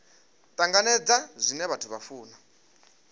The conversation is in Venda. tanganedza zwine vhathu vha funa